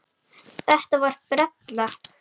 Þetta er brella.